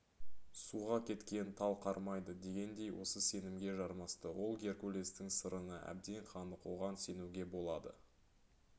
суға кеткен тал қармайды дегендей осы сенімге жармасты ол геркулестің сырына әбден қанық оған сенуге болады